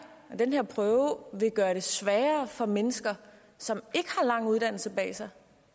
prøve vil gøre det sværere for mennesker som ikke har lang uddannelse bag sig